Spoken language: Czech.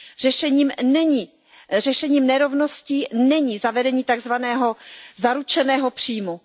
Řešením nerovností není zavedení tak zvaného zaručeného příjmu.